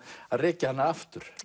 rekja hana aftur